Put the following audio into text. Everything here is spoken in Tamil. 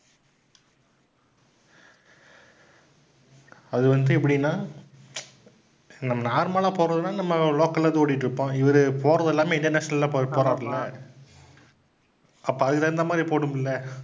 அது வந்து எப்படின்னா நம்~ normal ஆ போறதுனா நம்ம local ல வந்து ஓட்டிட்டிருப்போம். இவரு போறதெல்லாமே international ல போறாருல்ல அப்ப அதுக்கு தகுந்த மாதிரி போட்டுக்கணுமில்ல?